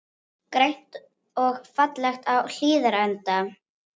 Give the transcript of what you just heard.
Grænt og fallegt á Hlíðarenda